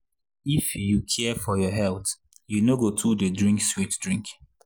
if you care for your health you no go too dey drink sweet drink.